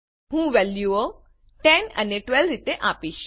હું વેલ્યુઓ 10 અને 12 રીતે આપીશ